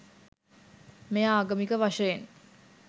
මෙය ආගමික වශයෙන්